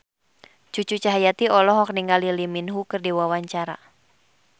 Cucu Cahyati olohok ningali Lee Min Ho keur diwawancara